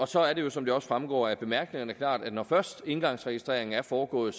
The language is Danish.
så er det jo som det også fremgår af bemærkningerne klart at når først engangsregistreringen er foregået